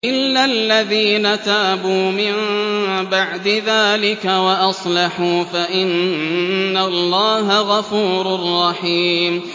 إِلَّا الَّذِينَ تَابُوا مِن بَعْدِ ذَٰلِكَ وَأَصْلَحُوا فَإِنَّ اللَّهَ غَفُورٌ رَّحِيمٌ